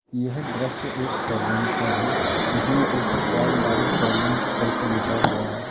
यह दृश्य एक सैलून का है जिसमें ऊपर बाल दाढ़ी सैलून करके लिखा हुआ है।